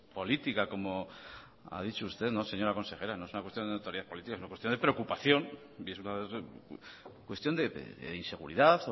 política como ha dicho usted no señora consejera no es una cuestión de notoriedad política es una cuestión de preocupación y es una cuestión de inseguridad